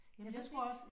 Jeg ved det ikke